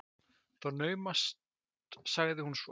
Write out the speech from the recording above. Það er naumast sagði hún svo.